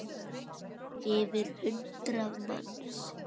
Yfir hundrað manns?